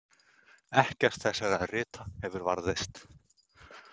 Ekkert þessara rita hefur varðveist.